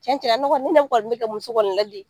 Tiɲɛ tiɲɛ na ne ne kɔni bɛ kɛ muso kɔni ladi